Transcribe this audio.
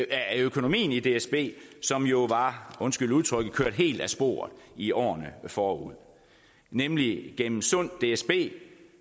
af økonomien i dsb som jo var undskyld udtrykket kørt helt af sporet i årene forud nemlig gennem et sundt dsb